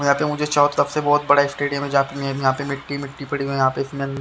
यहां पे मुझे बहुत बड़ा स्टेडियम है यहां की यहां पे मिट्टी मिट्टी पड़ी हुई है यहां पे इसमें--